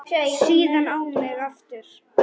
Síðan á mig aftur.